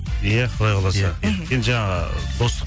иә құдай қаласа енді жаңа достық